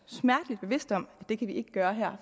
smertelig bevidst om at det kan vi ikke gøre her